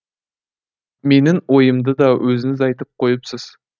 менің ойымды да өзіңіз айтып қойыпсыз